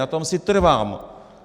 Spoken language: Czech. Na tom si trvám.